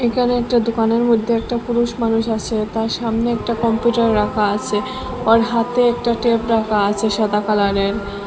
এখানে একটা দোকানের মইধ্যে একটা পুরুষ মানুষ আছে তার সামনে একটা কম্পিউটার রাখা আসে ওর হাতে একটা ট্যাব রাখা আসে সাদা কালারের।